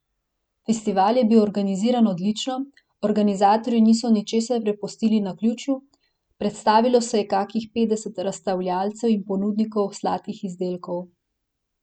Festival je bil organiziran odlično, organizatorji niso ničesar prepustili naključju, predstavilo se je kakih petdeset razstavljavcev in ponudnikov sladkih izdelkov.